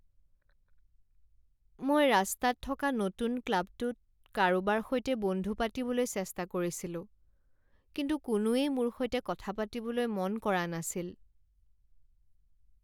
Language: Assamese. মই ৰাস্তাত থকা নতুন ক্লাবটোত কাৰোবাৰ সৈতে বন্ধু পাতিবলৈ চেষ্টা কৰিছিলোঁ, কিন্তু কোনোৱেই মোৰ সৈতে কথা পাতিবলৈ মন কৰা নাছিল।